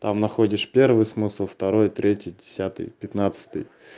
там находишь первый смысл второй третий десятый пятнадцатый